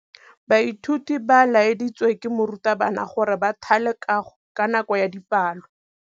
Baithuti ba laeditswe ke morutabana gore ba thale kagô ka nako ya dipalô.